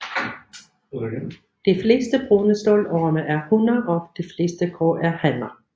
De fleste brune stålorme er hunner og de fleste grå er hanner